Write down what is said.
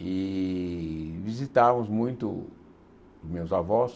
e visitávamos muito meus avós.